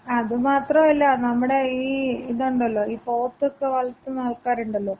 അത് മാത്രല്ല, നമ്മുടെ ഈ ഇതൊണ്ടല്ലോ, ഈ പോത്തൊക്കെ വളർത്തുന്ന ആൾക്കാരൊണ്ടല്ലോ,